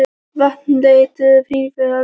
Vatn leitt til hennar í pípum frá laugunum.